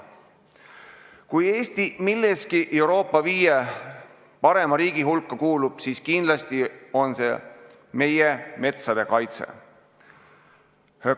Kui Eesti milleski Euroopa viie parima riigi hulka kuulub, siis kindlasti on see meie metsade kaitse.